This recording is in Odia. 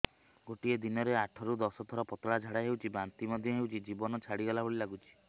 ଗୋଟେ ଦିନରେ ଆଠ ରୁ ଦଶ ଥର ପତଳା ଝାଡା ହେଉଛି ବାନ୍ତି ମଧ୍ୟ ହେଉଛି ଜୀବନ ଛାଡିଗଲା ଭଳି ଲଗୁଛି